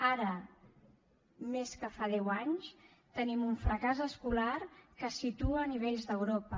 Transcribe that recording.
ara més que fa deu anys tenim un fracàs escolar que es situa a nivells d’europa